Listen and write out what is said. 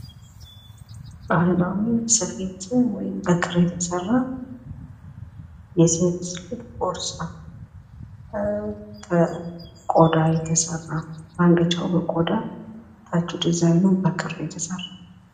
ባህላዊ ስሪት ወይም በክር የተሰራ የሴት ልጅ ቦርሳ ፤ ከቆዳ የተሰራ ፤ ማንገቻዉ በቆዳ ታቹ ድዛይኑ በክር የተሰራ።